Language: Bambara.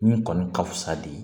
Min kɔni ka fusa de